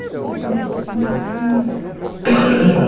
Você lembra de uma, assim?